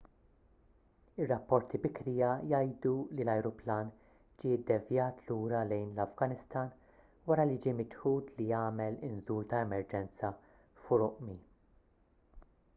ir-rapporti bikrija jgħidu li l-ajruplan ġie ddevjat lura lejn l-afganistan wara li ġie miċħud li jagħmel inżul ta’ emerġenza f’urümqi